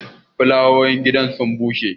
folawoyin gidan nan sun bushe